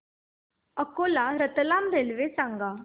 Akola Ratlam railway सांगा